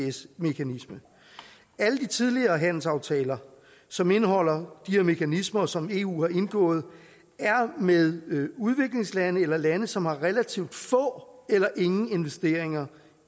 isds mekanisme alle de tidligere handelsaftaler som indeholder her mekanisme og som eu har indgået er med udviklingslande eller lande som har relativt få eller ingen investeringer